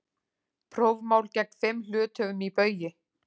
Prófmál gegn fimm hluthöfum í Baugi